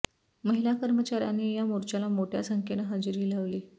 महिला कर्मचाऱ्यांनी या मोर्चाला मोठ्या संख्येनं हजेरी लावली